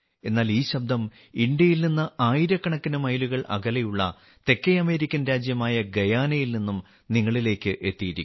എന്നാൽ ഈ ശബ്ദം ഇന്ത്യയിൽ നിന്ന് ആയിരക്കണക്കിന് മൈലുകൾ അകലെയുള്ള തെക്കേ അമേരിക്കൻ രാജ്യമായ ഗയാനയിൽ നിന്നും നിങ്ങളിലേക്ക് എത്തിയിരിക്കുന്നു